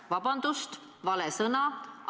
Vabandust, vale sõna!